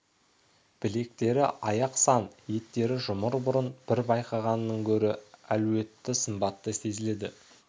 білектері аяқ-сан еттері жұмыр бұрын бір байқағанынан гөрі әлуетті сымбатты сезіледі